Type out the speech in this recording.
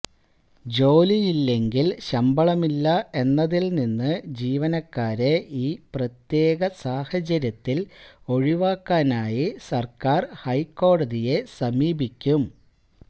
ജോലിയില്ലെങ്കില് ശമ്പളമില്ല എന്നതില്നിന്ന് ജീവനക്കാരെ ഈ പ്രത്യേക സാഹചര്യത്തില് ഒഴിവാക്കാനായി സര്ക്കാര് ഹൈക്കോടതിയെ സമീപിക്കും